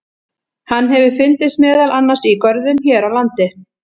Hann hefur fundist meðal annars í görðum hér á landi.